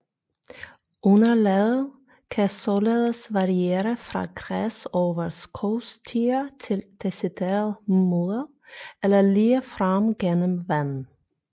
Underlaget kan således variere fra græs over skovstier til decideret mudder eller ligefrem gennem vand